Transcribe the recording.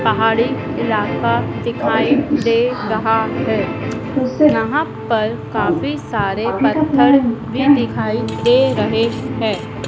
पहाड़ी इलाका दिखाई दे रहा है यहाँ पर काफी सारे पत्थर भी दिखाई दे रहे हैं।